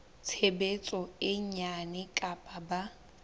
tshebetso e nyane kapa ba